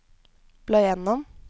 bla gjennom